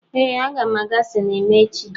Ee, aga m aga sinima echi.